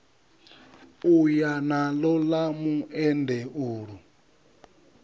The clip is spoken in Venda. u ya naḽo ḽa muendeulu